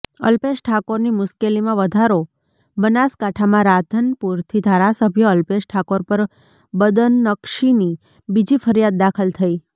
અલ્પેશ ઠાકોરની મુશ્કેલીમાં વધારો બનાસકાંઠામાં રાધનપુરથી ધારાસભ્ય અલ્પેશ ઠાકોર પર બદનક્ષીની બીજી ફરિયાદ દાખલ થઈ